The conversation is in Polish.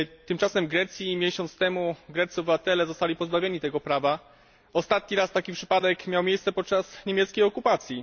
Tymczasem w Grecji miesiąc temu greccy obywatele zostali pozbawieni tego prawa. Ostatni raz taki przypadek miał miejsce podczas niemieckiej okupacji.